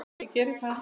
Já, ég geri það.